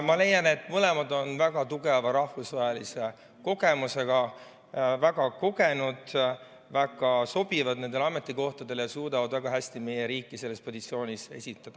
Ma leian, et mõlemad on väga tugeva rahvusvahelise kogemusega, väga kogenud, nad sobivad nendele ametikohtadele ja suudavad väga hästi meie riiki selles positsioonis esindada.